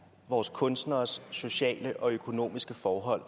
vores kunstneres sociale og økonomiske forhold